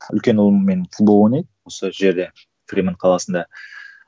үлкен ұлым менің футбол ойнайды сол жерде фриманд қаласында